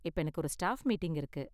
இப்ப எனக்கு ஒரு ஸ்டாஃப் மீட்டிங் இருக்கு.